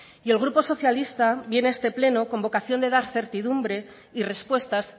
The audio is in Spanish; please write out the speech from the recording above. y el grupo socialista viene a este pleno con vocación de dar certidumbre y respuestas